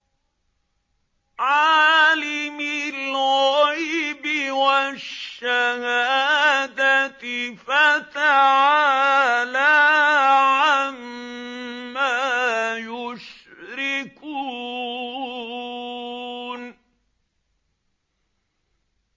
عَالِمِ الْغَيْبِ وَالشَّهَادَةِ فَتَعَالَىٰ عَمَّا يُشْرِكُونَ